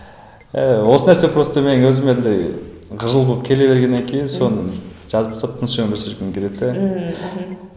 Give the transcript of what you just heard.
ііі осы нәрсе просто мен өзіме андай қыжыл болып келе бергеннен кейін соны жазып тастап тыныш өмір сүргім келеді де ммм